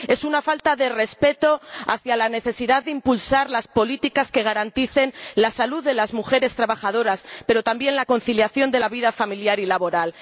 Es una falta de respeto hacia la necesidad de impulsar las políticas que garanticen la salud de las mujeres trabajadoras, pero también la conciliación de la vida familiar y laboral.